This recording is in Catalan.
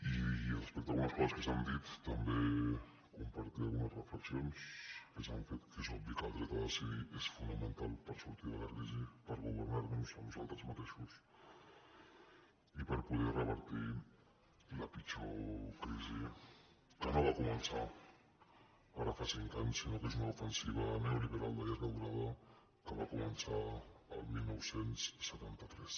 i respecte a algunes coses que s’han dit també compartir algunes reflexions que s’han fet que és obvi que el dret a decidir és fonamental per sortir de la crisi per governar nos a nosaltres mateixos i per poder revertir la pitjor crisi que no va començar ara fa cinc anys sinó que és una ofensiva neoliberal de llarga durada que va començar el dinou setanta tres